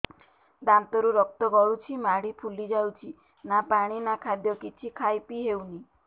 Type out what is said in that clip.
ଦାନ୍ତ ରୁ ରକ୍ତ ଗଳୁଛି ମାଢି ଫୁଲି ଯାଉଛି ନା ପାଣି ନା ଖାଦ୍ୟ କିଛି ଖାଇ ପିଇ ହେଉନି